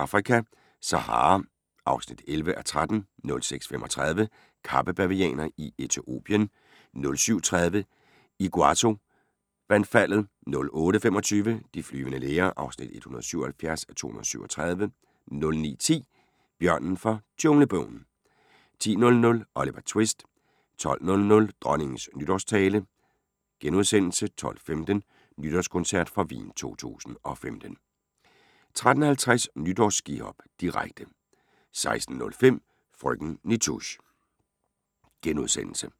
05:40: Det vilde Afrika - Sahara (11:13) 06:35: Kappebavianer i Etiopien 07:30: Iguazu-vandfaldet 08:25: De flyvende læger (177:237) 09:10: Bjørnen fra Junglebogen 10:00: Oliver Twist 12:00: Dronningens nytårstale * 12:15: Nytårskoncert fra Wien 2015 13:50: Nytårsskihop, direkte 16:05: Frøken Nitouche *